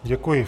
Děkuji.